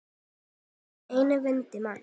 tælast af einni vondir menn